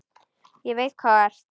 Ég veit hvað þú ert.